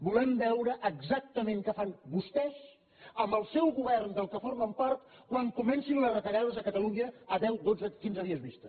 volem veure exactament què fan vostès amb el seu govern de què formen part quan comencin les retallades a catalunya a deu dotze quinze dies vista